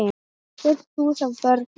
Fullt hús af börnum.